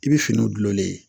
I bɛ finiw gulonlen ye